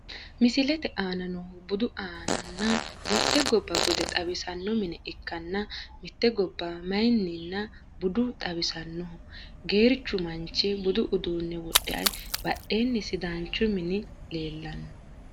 Misilete aana noohu budu anna ,nna mite goba bude xawisano mine ikkanna mite goba mayimana bude xawisanoho. Geerichu manichi budu uudune wodhe baadheni sidanichu mini leelano.